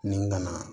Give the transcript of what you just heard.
Ni gana